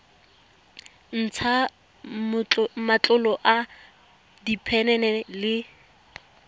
ntsha matlolo a diphenene le